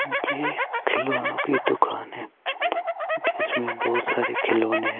नीचे खिलौनो की दुकान है जिसमें बहोत सारे खिलौने हैं।